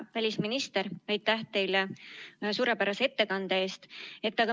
Hea välisminister, aitäh teile suurepärase ettekande eest!